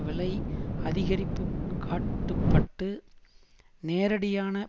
விலை அதிகரிப்புக் காட்டுப்பட்டு நேரடியான